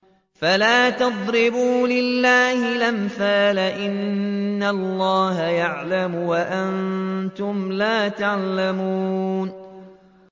فَلَا تَضْرِبُوا لِلَّهِ الْأَمْثَالَ ۚ إِنَّ اللَّهَ يَعْلَمُ وَأَنتُمْ لَا تَعْلَمُونَ